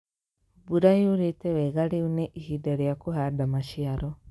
Mbura yuurĩĩtĩ wega rĩu nĩ ihinda rĩa kũhaanda maciaro.